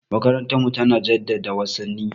Makarantarmu tana jaddada wasanni.